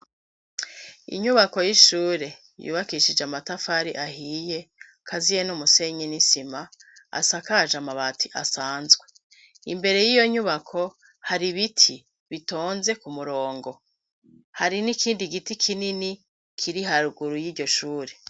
Inyubako y'ishure yubakishije amatafari ahiye kaziye n'umusenyi n'isima asakaje amabati asanzwe imbere y'iyo nyubako hari biti bitonze ku murongo hari n'ikindi giti kinini kiri haruguru y'iryo shure.